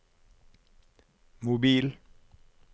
mobil